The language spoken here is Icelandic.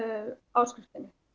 áskriftinni